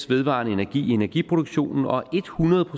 vedvarende energi i energiproduktionen og hundrede